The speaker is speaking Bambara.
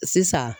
Sisan